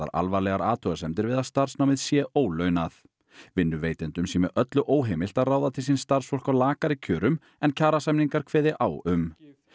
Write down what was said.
alvarlegar athugasemdir við að starfsnámið sé ólaunað vinnuveitendum sé með öllu óheimilt að ráða til sín starfsfólk á lakari kjörum en kjarasamningar kveði á um